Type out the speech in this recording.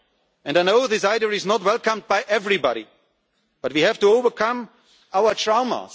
democracy. And I know this idea is not welcomed by everybody, but we have to overcome our